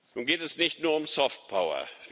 Nun geht es nicht nur um soft power